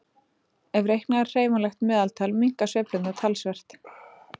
Ef reiknað er hreyfanlegt meðaltal minnka sveiflurnar talsvert.